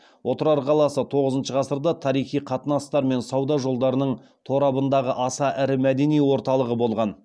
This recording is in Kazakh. отырар қаласы тоғызыншы ғасырда тарихи қатынастар мен сауда жолдарының торабындағы аса ірі мәдени орталығы болған